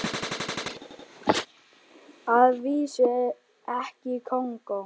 Að vísu ekki í Kongó.